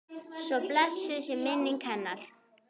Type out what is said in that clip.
Svo blessuð sé minning hennar.